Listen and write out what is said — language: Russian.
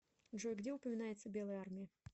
джой где упоминается белая армия